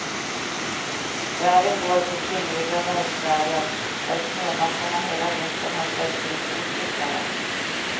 Färden går på slingriga bergsvägar där snömassorna hela vintern har ställt till stort besvär.